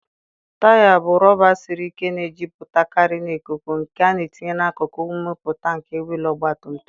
Taya bụ rọba siri ike na-ejupụtakarị na ikuku, nke a na-etinye n'akụkụ mpụta nke wịịlụ ọgbatumtum.